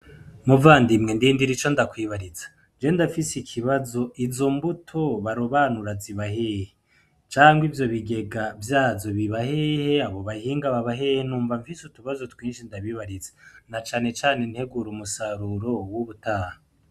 Muvandimwe ndindira ico ndakwibariza, je ndafise ikibazo, izo mbuto barobanura ziba hehe? Canke ivyo bigega vyazo biba hehe? Abo bahinga baba hehe? Numva nfise utubazo twinshi ndabibariza na cane cane integuro musaruro w'ubutaha.